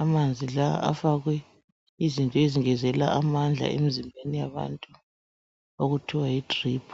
,amanzi lawa afakwe izinto ezingezelela amandla emzimbeni yabantu .Okuthiwa yi drip .